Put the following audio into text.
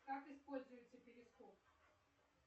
как используется перископ